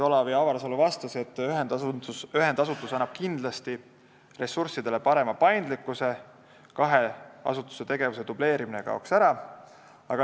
Olav Avarsalu vastas, et ühendasutus annab kindlasti ressurssidele parema paindlikkuse, kahe asutuse tegevuse dubleerimine kaob ära.